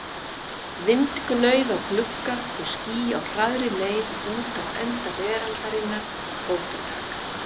Vindgnauð á glugga og ský á hraðri leið út á enda veraldarinnar, fótatak.